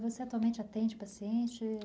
Você atualmente atende pacientes?